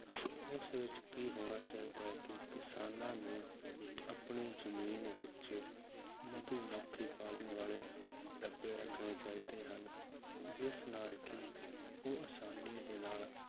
ਉਸ ਵਿੱਚ ਕੀ ਹੋਣਾ ਚਾਹੀਦਾ ਹੈ ਕਿ ਕਿਸਾਨਾਂ ਨੂੰ ਆਪਣੀ ਜ਼ਮੀਨ ਵਿੱਚ ਮਧੂ ਮੱਖੀ ਪਾਲਣ ਵਾਲੇ ਡੱਬੇ ਰੱਖਣੇ ਚਾਹੀਦੇ ਹਨ, ਜਿਸ ਨਾਲ ਕਿ ਉਹ ਆਸਾਨੀ ਦੇ ਨਾਲ